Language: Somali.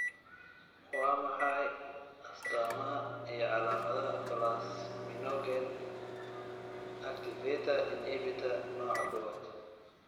Waa maxay astamaha iyo calaamadaha Plasminogen activator inhibitor nooca Kowaad?